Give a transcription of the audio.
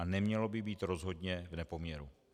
A nemělo by být rozhodně v nepoměru.